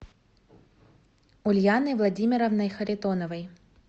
ульяной владимировной харитоновой